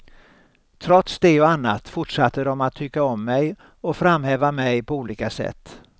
Trots det och annat fortsatte de att tycka om mig och framhäva mig på olika sätt.